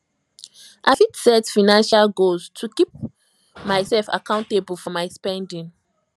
i fit set financial goals to to keep myself accountable for my spending